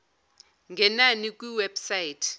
ngena kwi website